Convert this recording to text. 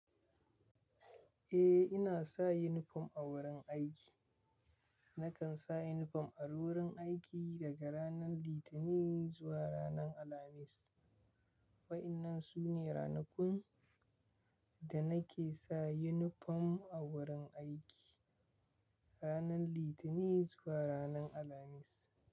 Eh, ina sa yunifom a wurin aiki. Nakan sa yunifom a wurin aiki daga ranar Litinin zuwa ranar Alhamis. Waɗannan su ne ranakun da nake sa yunifom a wurin aiki, ranar Litinin zuwa ranar Alhamis.